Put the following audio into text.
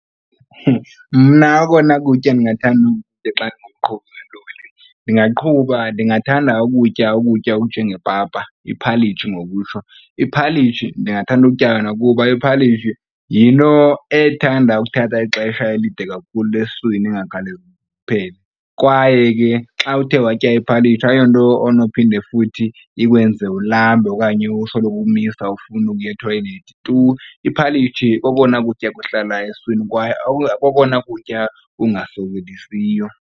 Mna okona kutya ndingathanda ukukutya xa ndingumqhubi welori ndingaqhuba, ndingathanda ukutya ukutya okunjengepapa, iphalitshi ngokutsho. Iphalitshi ndingathanda ukutya lona kuba iphalitshi yinto ethanda ukthatha ixesha elide kakhulu esiswini ingakhawulezi iphele. Kwaye ke xa uthe watya iphalitshi ayiyonto onophinde futhi ikwenze ulambe okanye usoloko umisa ufuna ukuya ethoyilethi tu. Iphalitshi kokona kutya kuhlala esiswini kwaye kokona kutya kungasokolisiyo.